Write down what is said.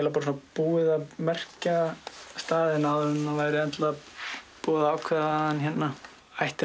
búið að merkja staðinn áður en það var búið að ákveða að hann ætti